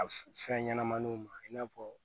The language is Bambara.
A f fɛn ɲɛnɛmaninw ma i n'a fɔ